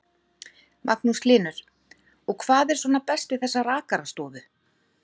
Magnús Hlynur: Og hvað er svona best við þessa rakarastofu?